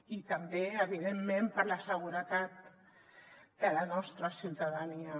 i també evidentment per la seguretat de la nostra ciutadania